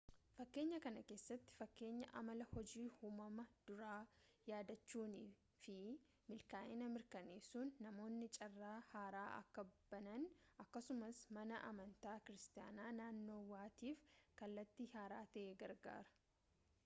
fakkeenya kana keessatti fakkeenya amala hojii uumummaa duraa yaadachuunii fi milkaa'ina mirkaneessuun namoonni carraa haaraa akka banan akkasumas mana amantaa kiiristaanaa naannawaatiif kallattii haaraa ta'e gargaara